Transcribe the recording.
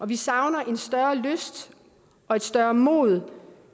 vi savner en større lyst og et større mod